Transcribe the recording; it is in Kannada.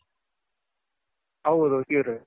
ಹೌದು ಈರುಳ್ಳಿ.